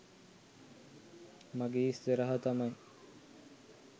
මගේ ඉස්සරහා තමයි